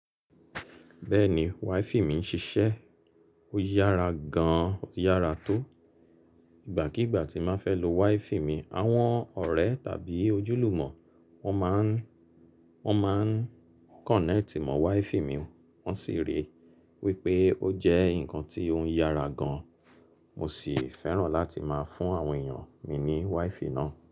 Bẹ́ẹ̀ni, WiFi mi ń ṣiṣẹ́, ó yára gan-an, ó yára tó. Ìgbàkígbà tí n bá fẹ́ lo WiFi mi, àwọn ọ̀rẹ́ tàbí ojúlùmọ̀ wọn máa ń, wọn máa ń connect mọ WiFi mi, wọ́n sì rí i wípé ó jẹ́ ǹkan tí ó ń yára gan-an. Mo sì fẹ́ràn láti máa fún àwọn èèyàn mi ní WiFi náà.